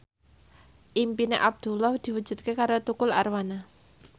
impine Abdullah diwujudke karo Tukul Arwana